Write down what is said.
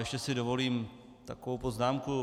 Ještě si dovolím takovou poznámku.